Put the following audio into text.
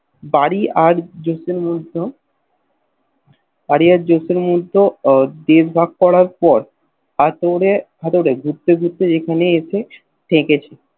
বাড়ি র জোসেন বাড়ি আর যেকোনো মুহূর্ত দেশ বাগ করার পর হাতুড়ে হাতুড়ে যেখানেই আসি থেকেছি